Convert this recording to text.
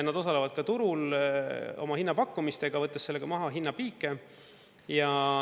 Nad osalevad ka turul oma hinnapakkumistega, võttes sellega maha hinnapiike.